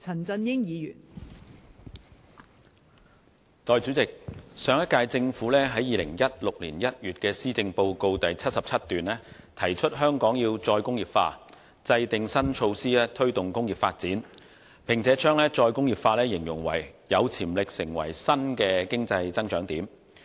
代理主席，上屆政府在2016年1月的施政報告第77段提出香港要"再工業化"，制訂新措施推動工業發展，並將"再工業化"形容為有潛力成為新的經濟增長點。